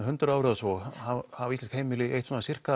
hundrað árum hafa íslensk heimili eytt